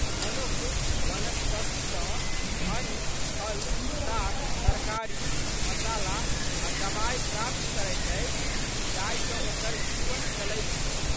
मनुख वनस्पतित सँ अन्न, फल, साग, तरकारी, मसाला आ' दबाइ प्राप्त करैत अछि जाहि सँ ओकर जीवन चलैत छै।